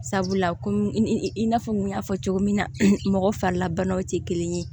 Sabula ko i n'a fɔ n kun y'a fɔ cogo min na mɔgɔ farilabanaw tɛ kelen ye